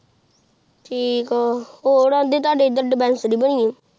ਠੀਕ ਆਹ ਹੋਰ ਐਡਰ ਤੁਹੁਦੇ